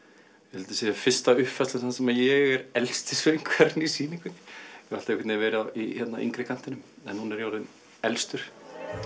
þetta sé fyrsta uppfærslan þar sem ég er elsti söngvarinn í sýningunni ég hef alltaf verið í yngri kantinum en nú er ég orðinn elstur